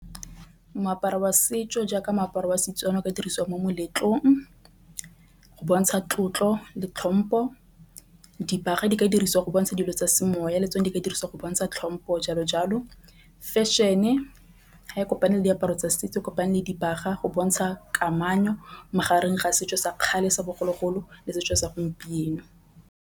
Moaparo wa setso jaaka moaparo wa Setswana o ka dirisiwang mo moletlong go bontsha tlotlo le tlhompo. Dibaga di ka dirisiwa go bontsha dilo tsa semoya le tsone di ka dirisiwa go bona tsa tlhompo jalo jalo. Fešhene ha kopane le diaparo tsa setso kopane le dibaga go bontšha kamano magareng ga setso sa kgale sa bogologolo le setso sa gompieno.